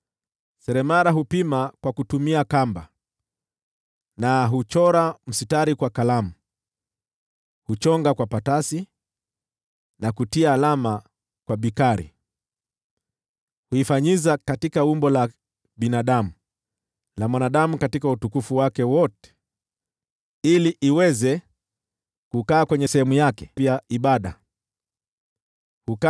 Seremala hupima kwa kutumia kamba na huuchora mstari kwa kalamu; huchonga kwa patasi na kutia alama kwa bikari. Huifanyiza katika umbo la binadamu, la mwanadamu katika utukufu wake wote, ili iweze kukaa katika sehemu yake ya ibada ya miungu.